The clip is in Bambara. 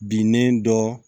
Binnen dɔ